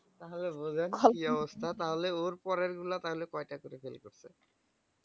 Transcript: তাহলে বোঝেন কি অবস্হা। তাহলে ওর পরেরগুলো তাহলে কয়টা করে fail করছে